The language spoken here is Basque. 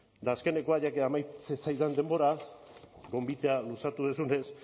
eta azkenekoa ya que amaitzen zaidan denbora gonbitea luzatu duzunez